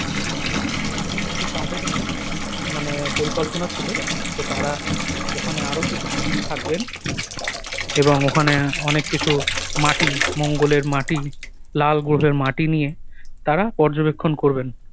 তো তাদের একটা ম~ মানে পরিকল্পনা ছিল যে তারা ওখানে আরো কিছুদিন থাকবেন এবং ওখানে অনেক কিছু মাটি, মঙ্গলের মাটি, লাল গ্রহের মাটি নিয়ে তারা পর্যবেক্ষণ করবেন।